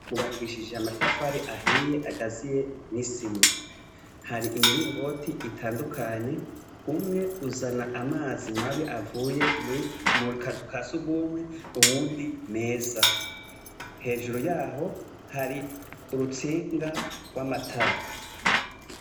Hubakishije amatafari ahiye agaziye n’isima. Hari imiringoti itandukanye, umwe uzana amazi mabi avuye mukaziu ka sugumwe uwundi meza. Hejuru yaho hari urutsinga gw’amatara.